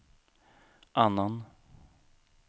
annan